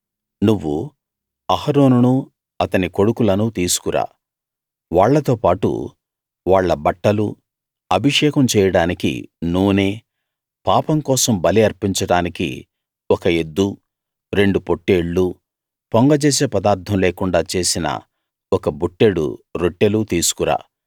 నువ్వు అహరోనును అతని కొడుకులను తీసుకు రా వాళ్ళతో పాటు వాళ్ళ బట్టలూ అభిషేకం చేయడానికి నూనే పాపం కోసం బలి అర్పించడానికి ఒక ఎద్దూ రెండు పొట్టేళ్ళూ పొంగజేసే పదార్ధం లేకుండా చేసిన ఒక బుట్టెడు రొట్టెలూ తీసుకు రా